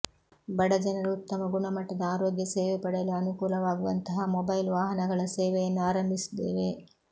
ಬಡ ಜನರು ಉತ್ತಮ ಗುಣಮಟ್ಟದ ಆರೋಗ್ಯ ಸೇವೆ ಪಡೆಯಲು ಅನುಕೂಲವಾಗುವಂತಹ ಮೊಬೈಲ್ ವಾಹನಗಳ ಸೇವೆಯನ್ನು ಆರಂಭಿಸಿದ್ದೇವೆ